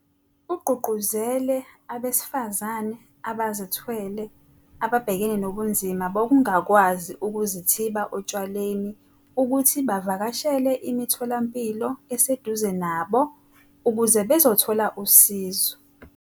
Ugqugquzele abesifazane abazethwele ababhekene nobunzima bokungakwazi ukuzithiba otshwaleni ukuthi bavakashele imitho lampilo eseduze nabo ukuze bezothola usizo.